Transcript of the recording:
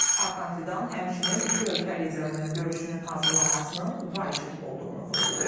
Hakan Fidan həmçinin iki ölkə liderinin görüşünün hazırlanmasının vacib olduğunu vurğulayıb.